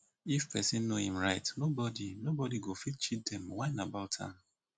if pesin know em right nobody nobody go fit cheat dem whine am about am